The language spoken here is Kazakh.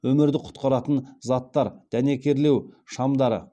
өмірді құтқаратын заттар дәнекерлеу шамдары